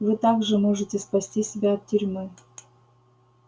вы также можете спасти себя от тюрьмы